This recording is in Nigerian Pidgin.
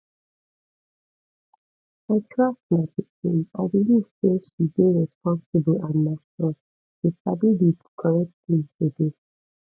i trust my pikin i belive say she dey responsible and mature she sabi di correct thing to do